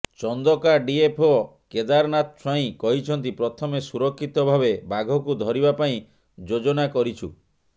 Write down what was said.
Chandaka DFO Kedarnath Swain କହିଛନ୍ତି ପ୍ରଥମେ ସୁରକ୍ଷିତ ଭାବେ ବାଘକୁ ଧରିବା ପାଇଁ ଯୋଜନା କରିଛୁ